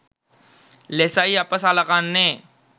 ලෙසයි අප සලකන්නේ.